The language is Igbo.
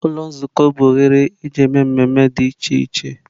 Ụlọ Nzukọ bụ oghere eji eme mmemme dị iche iche.